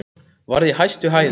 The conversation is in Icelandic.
Verð í hæstu hæðum